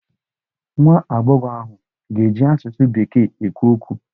Nwa agbọghọ ahụ ga-eji asụsụ bekee ekwu okwu.